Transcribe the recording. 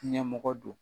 Ɲɛmɔgɔ don